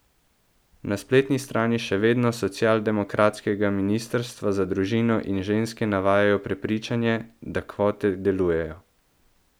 Na spletni strani še vedno socialdemokratskega ministrstva za družino in ženske navajajo prepričanje, da kvote delujejo.